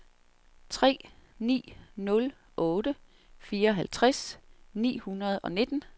tre ni nul otte fireoghalvtreds ni hundrede og nitten